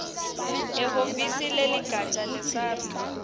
ehhovisi leligatja lesars